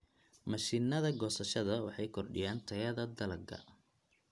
Mashiinnada goosashada waxay kordhiyaan tayada dalagga.